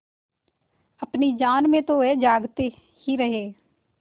अपनी जान में तो वह जागते ही रहे